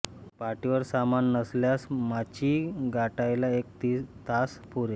पाठीवर सामान नसल्यास माची गाठायला एक तास पुरे